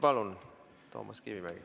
Palun, Toomas Kivimägi!